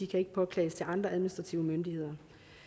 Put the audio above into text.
kan påklages til andre administrative myndigheder